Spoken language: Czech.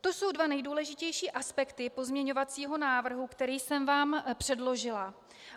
To jsou dva nejdůležitější aspekty pozměňovacího návrhu, který jsem vám předložila.